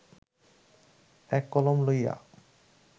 এক কলম লইয়া